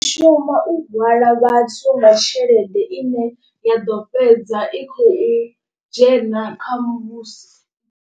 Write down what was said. Shuma u hwala vhathu vha tshelede ine ya ḓo fhedza i khou dzhena kha musi.